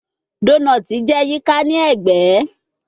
Donut jẹ yika ni ẹgbẹ